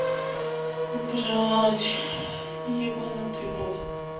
убрать ебанутый бот